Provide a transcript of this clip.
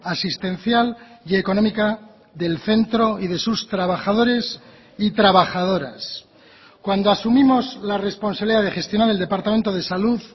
asistencial y económica del centro y de sus trabajadores y trabajadoras cuando asumimos la responsabilidad de gestionar el departamento de salud